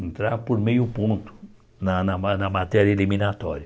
entrar por meio ponto na na ma na matéria eliminatória.